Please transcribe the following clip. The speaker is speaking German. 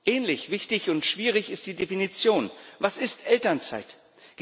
Ähnlich wichtig und schwierig ist die Definition, was Elternzeit ist.